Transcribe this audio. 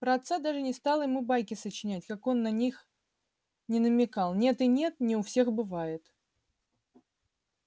про отца даже не стала ему байки сочинять как он на них ни намекал нет и нет не у всех бывает